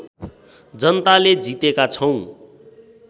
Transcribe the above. जनताले जितेका छौँ